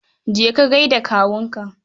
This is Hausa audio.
Je ka gai da kawunka.